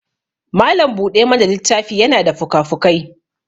malam buɗe mana littafi yana da fukafukai